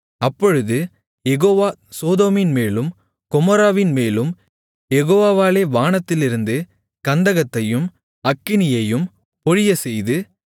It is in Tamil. அப்பொழுது யெகோவா சோதோமின் மேலும் கொமோராவின்மேலும் யெகோவாவாலே வானத்திலிருந்து கந்தகத்தையும் அக்கினியையும் பொழியச்செய்து